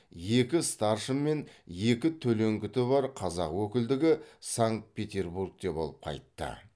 екі старшын мен екі төлеңгіті бар қазақ өкілдігі санкт петербургте болып қайтты